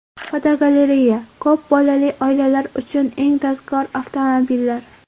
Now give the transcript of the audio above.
Fotogalereya: Ko‘p bolali oilalar uchun eng tezkor avtomobillar.